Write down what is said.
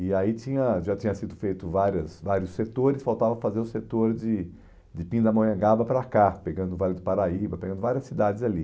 E aí tinha já tinha sido feito várias vários setores, faltava fazer o setor de de Pindamonhangaba para cá, pegando o Vale do Paraíba, pegando várias cidades ali.